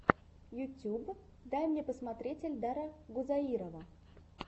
ютуб дай мне посмотреть эльдара гузаирова